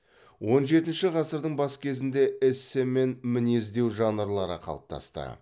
он жетінші ғасырдың бас кезінде эссе мен мінездеу жанрлары қалыптасты